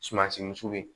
Sumansiw